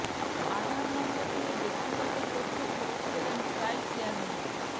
আধার নম্বর দিয়ে ব্যক্তিগত তথ্য ফেরত পেলেন ট্রাই চেয়ারম্যান